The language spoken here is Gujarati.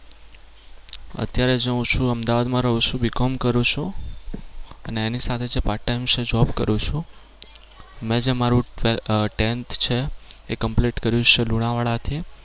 અત્યારે જે છું હું અમદાવાદમાં રહું છું B com કરું છું અને એની સાથે છે part time job કરું છું. મેં જે મારુ ટે અમ tenth છે એ complete કર્યું છે લુણાવાડા થી.